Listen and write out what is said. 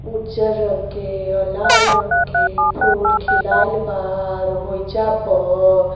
उजर रंग के आ लाल रंग के फूल खिलाईल बा और होईजा प --